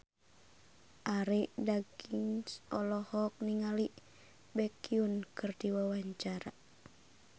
Arie Daginks olohok ningali Baekhyun keur diwawancara